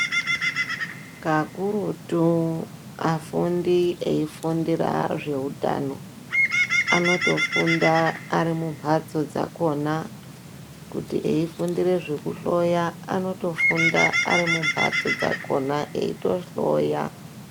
Kakurutu afundi eyi fundira zve utano anoto funda ari mu mbatso dzakona kuti eyi fundire zveku hloya anoto funda ari mu mbatso dzakona eyito hloya.